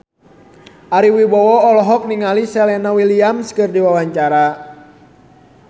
Ari Wibowo olohok ningali Serena Williams keur diwawancara